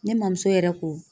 Ne mɔmuso yɛrɛ ko